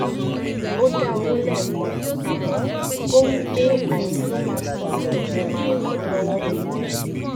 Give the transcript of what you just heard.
ó dá owó lẹẹkan àmọ ó wí pé àìní ló máa sọ bí òun ṣe máa ràn wọn lọwọ